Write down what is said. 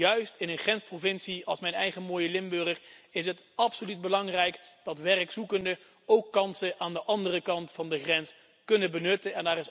Want juist in een grensprovincie als mijn eigen mooie Limburg is het absoluut belangrijk dat werkzoekenden ook kansen aan de andere kant van de grens kunnen benutten.